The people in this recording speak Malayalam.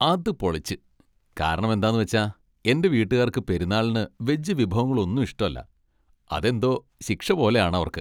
അത് പൊളിച്ച്! കാരണമെന്താന്ന് വെച്ചാൽ എൻ്റെ വീട്ടുകാർക്ക് പെരുന്നാളിന് വെജ് വിഭവങ്ങളൊന്നും ഇഷ്ടല്ല, അതെന്തോ ശിക്ഷ പോലെ ആണവർക്ക്.